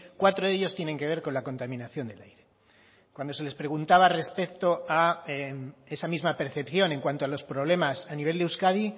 cuatro de ellos tienen que ver con la contaminación del aire cuando se les preguntaba respecto a esa misma percepción en cuanto a los problemas a nivel de euskadi